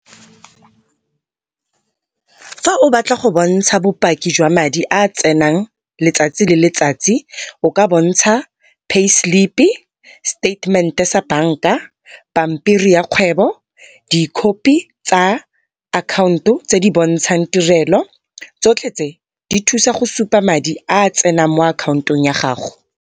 Fa o batla go bontsha bopaki jwa madi a a tsenang letsatsi le letsatsi o ka bontsha pay slip-i, seteitemente sa banka, pampiri ya kgwebo, dikhopi tsa akhaonto tse di bontshang tirelo. Tsotlhe tse di thusa go supa madi a tsenang mo akhaontong ya gago.